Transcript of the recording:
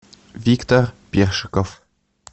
виктор першиков